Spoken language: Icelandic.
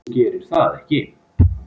Þú gerir það ekki.